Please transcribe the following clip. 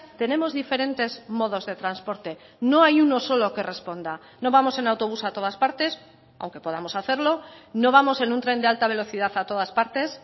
tenemos diferentes modos de transporte no hay uno solo que responda no vamos en autobús a todas partes aunque podamos hacerlo no vamos en un tren de alta velocidad a todas partes